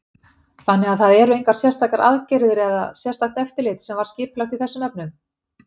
Þannig að það engar sérstakar aðgerðir eða sérstakt eftirlit sem var skipulagt í þessum efnum?